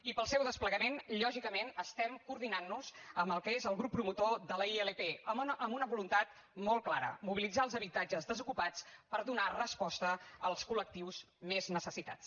i per al seu desplegament lògicament estem coordinant nos amb en el que és el grup promotor de la ilp amb una voluntat molt clara mobilitzar els habitatges desocupats per donar resposta als col·lectius més necessitats